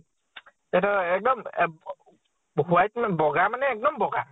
এইটো এক্দম এহ white মা বʼগা মানে এক্দম বʼগা।